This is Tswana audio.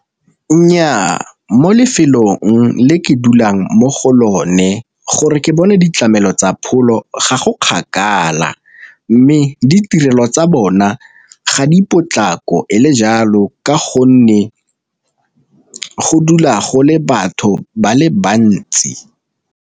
Nnyaa mo lefelong le ke dulang mo go lone gore ke bone ditlamelo tsa pholo ga go kgakala, mme ditirelo tsa bona ga di potlako e le jalo ka gonne go dula go le batho ba le bantsi.